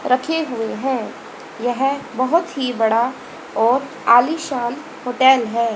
रखे हुए हैं यह बहुत ही बड़ा और आलिशान होटल है।